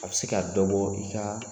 A bɛ se ka dɔ bɔ i ka